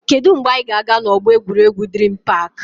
Kedụ mgbe anyị ga-aga na ọgbọ egwuregwu Dream park?